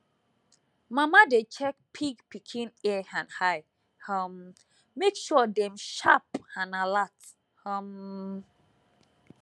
mama dey check pig pikin ear and eye um make sure dem sharp and alert um